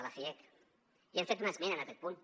de la fiec i hem fet una esmena en aquest punt